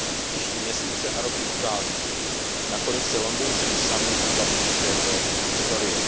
Příští měsíce a roky ukáží, nakolik se londýnský summit zapíše do historie.